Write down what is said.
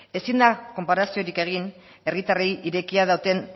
ezin da konparaziorik egin herritarrei irekia duten